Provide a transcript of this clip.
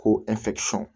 Ko